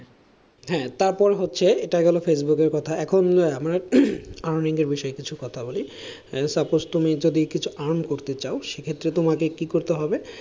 হ্যাঁ তারপর হচ্ছে এটা গেল ফেসবুকের কথা, এখন আমরা earning এর বিষয়ে একটু কথা বলি suppose তুমি যদি কিছু earn করতে চাও সে ক্ষেত্রে তোমাকে কি করতে হবে,